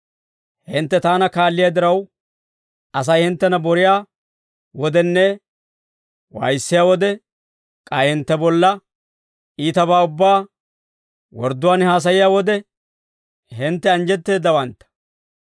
«Hintte taana kaalliyaa diraw, Asay hinttena boriyaa wodenne waayissiyaa wode, k'ay hintte bolla iitabaa ubbaa wordduwaan haasayiyaa wode, hintte anjjetteeddawantta.